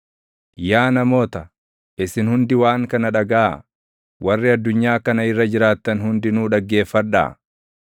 Yaa namoota, isin hundi waan kana dhagaʼaa; warri addunyaa kana irra jiraattan hundinuu dhaggeeffadhaa;